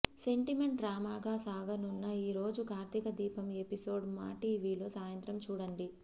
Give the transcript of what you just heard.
sentiment డ్రామాగా సాగనున్న ఈరోజు కార్తీకదీపం ఎపిసోడ్ మాటీవీ లో సాయంత్రం చూడండి